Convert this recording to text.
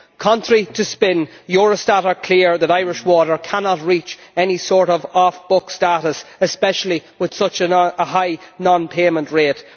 Contrary to spin, Eurostat are clear that Irish Water cannot reach any sort of off book status, especially with such a high non payment rate.